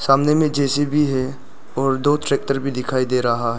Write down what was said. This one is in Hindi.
सामने में जेसीबी है और दो ट्रैक्टर भी दिखाई दे रहा है।